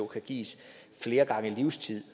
kan gives flere gange livstid